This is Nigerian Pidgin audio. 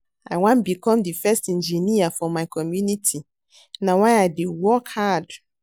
I wan become the first engineer for my community, na why I dey work hard.